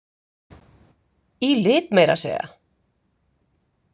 Í lit meira að segja!